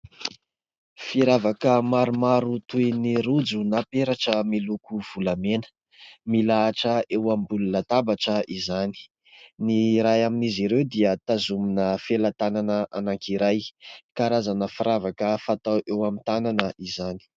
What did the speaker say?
Firavaka maromaro toy ny rojo na peratra miloko volamena, milahatra eo ambony latabatra izany, ny iray amin'izy ireo dia tazomina felan-tanana anakiray, karazana firavaka fatao eo amin'ny tanana izany.